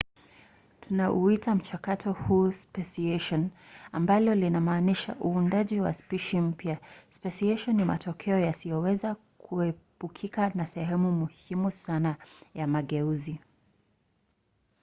tunauita mchakato huu speciation ambalo linamanisha uundaji wa spishi mpya. speciation ni matokeo yasiyoweza kuepukika na sehemu muhimu sana ya mageuzi